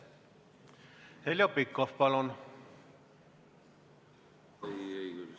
Heljo Pikhof, palun!